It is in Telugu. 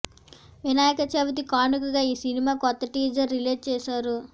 వినాయక చవితి కానుకగా ఈ సినిమా కొత్త టీజర్ రిలీజ్ చేశారు